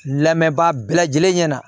Lamɛnbaa bɛɛ lajɛlen ɲɛna